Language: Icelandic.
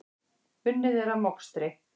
Unnið er að mokstri.